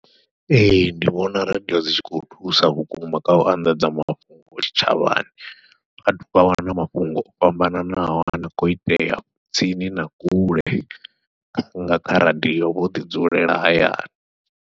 Ee ndi vhona radiyo dzi tshi khou thusa vhukuma kha u anḓadza mafhungo tshitshavhani, vhathu vha wana mafhungo o fhambananaho ane a khou itea tsini na kule nga kha radiyo vho ḓi dzulela hayani.